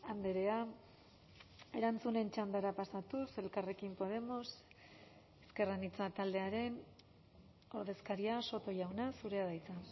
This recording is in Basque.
andrea erantzunen txandara pasatuz elkarrekin podemos ezker anitza taldearen ordezkaria soto jauna zurea da hitza